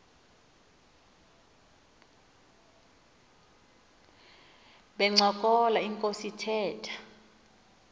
bencokola inkos ithetha